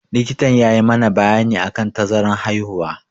Likita ya yi mana bayani akan tazaran haihuwa.